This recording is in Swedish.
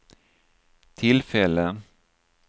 tillfälle